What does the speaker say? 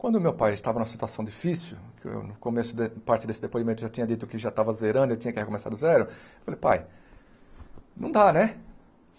Quando o meu pai estava em uma situação difícil, no começo da parte desse depoimento eu já tinha dito que já estava zerando, eu tinha que recomeçar do zero, eu falei, pai, não dá, né?